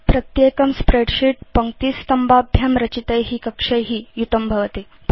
प्रत्येकं स्प्रेडशीट् पङ्क्तिस्तम्भाभ्यां रचितै कक्षै युतं भवति